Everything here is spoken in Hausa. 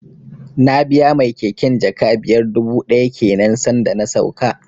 Na biya mai keken jaka biyar dubu ɗaya kenan san da na sauka